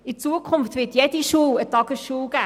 In Zukunft wird jede Schule eine Tagesschule sein;